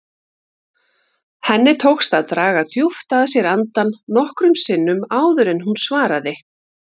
Henni tókst að draga djúpt að sér andann nokkrum sinnum áður en hún svaraði.